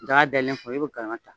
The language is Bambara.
Daga dayɛlen i b'o galama ta